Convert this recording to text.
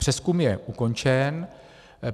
Přezkum je ukončen.